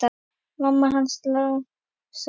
Mamma hans Lása í